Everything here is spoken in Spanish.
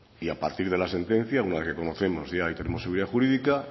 y a partir de la sentencia una vez que conocemos ya y tenemos seguridad jurídica